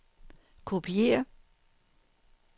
kopiér